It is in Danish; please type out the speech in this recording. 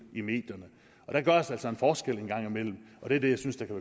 i medierne der gøres altså forskel en gang imellem og det er det jeg synes der kan